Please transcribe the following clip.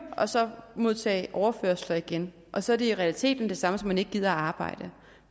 og så modtage overførsler igen og så er det i realiteten det samme som at man ikke gider at arbejde